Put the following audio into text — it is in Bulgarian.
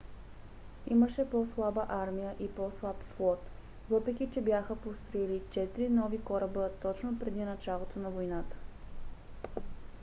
имаше по - слаба армия и по - слаб флот въпреки че бяха построили четири нови кораба точно преди началото на войната